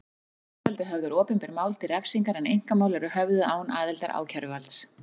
Ákæruvaldið höfðar opinber mál til refsingar en einkamál eru höfðuð án aðildar ákæruvalds.